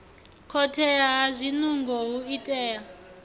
khothea ha zwinungo hu itea